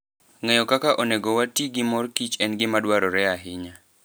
Ng'eyo kaka onego wati gi mor kich en gima dwarore ahinya.